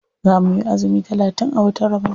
Za muyi azumi talatin a watan ramadan.